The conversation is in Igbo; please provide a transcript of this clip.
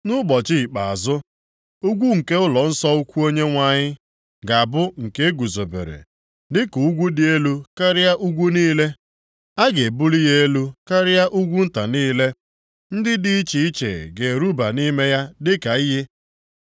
Nʼụbọchị ikpeazụ, ugwu nke ụlọnsọ ukwu Onyenwe anyị, ga-abụ nke eguzobere dịka ugwu dị elu karịa ugwu niile, a ga-ebuli ya elu karịa ugwu nta niile, ndị dị iche iche ga-eruba nʼime ya dịka iyi.